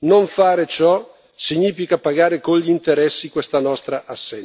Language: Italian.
Non fare ciò significa pagare con gli interessi questa nostra assenza.